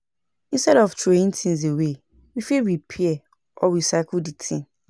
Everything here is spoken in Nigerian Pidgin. Instead of throwing things away, we fit repair or recycle di thing